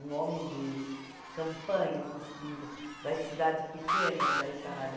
um homem de campanha, como se diz, da cidade pequena da Itália.